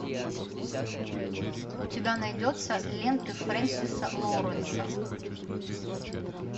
у тебя найдется ленты френсиса лоуренса